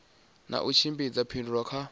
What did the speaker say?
na u tshimbidza phindulo kha